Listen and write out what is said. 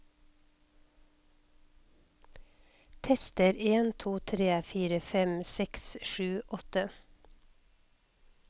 Tester en to tre fire fem seks sju åtte